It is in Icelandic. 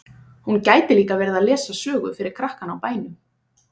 Hún gæti líka verið að lesa sögu fyrir krakkana á bænum.